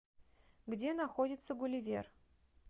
где находится гулливер